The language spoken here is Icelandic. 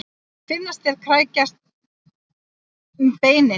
Finnast þeir krækjast um beinin.